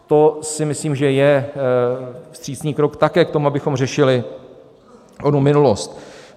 To si myslím, že je vstřícný krok také k tomu, abychom řešili onu minulost.